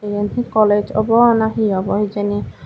iyan he college obo na he obo hijeni.